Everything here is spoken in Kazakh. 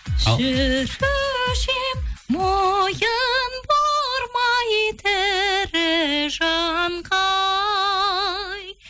жүруші ем мойын бармай тірі жанға ай